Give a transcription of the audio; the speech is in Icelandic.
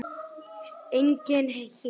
Enginn her.